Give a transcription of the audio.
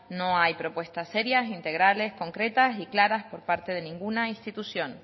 no hay propuestas serias integrales concretas ni claras por parte de ninguna institución